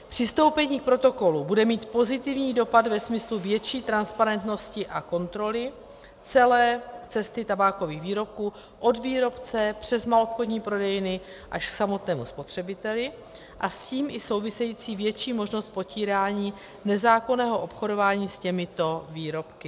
Přistoupení k protokolu bude mít pozitivní dopad ve smyslu větší transparentnosti a kontroly celé cesty tabákových výrobků od výrobce přes maloobchodní prodejny až k samotnému spotřebiteli a s tím i související větší možnost potírání nezákonného obchodování s těmito výrobky.